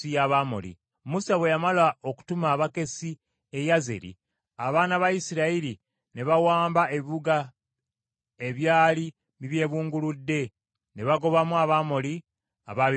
Musa bwe yamala okutuma abakessi e Yazeri, abaana ba Isirayiri ne bawamba ebibuga ebyali bikyebunguludde, ne bagobamu Abamoli abaabibeerangamu.